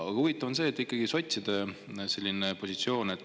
Huvitav on ikkagi sotside positsioon.